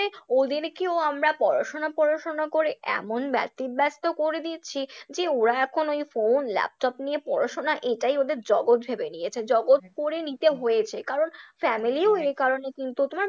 ওদেরকেও আমরা পড়াশোনা পড়াশোনা করে এমন ব্যতিব্যস্ত করে দিচ্ছি যে ওরা এখন phone, laptop নিয়ে পড়াশোনা এটাই ওদের জগৎ ভেবে নিয়েছে, জগৎ করে নিতে হয়েছে কারণ family ও এই কারণে কিন্তু তোমার